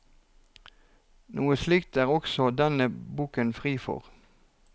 Noe slikt er også denne boken fri for.